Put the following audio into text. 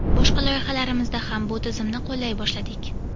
boshqa loyihalarimizda ham bu tizimni qo‘llay boshladik!.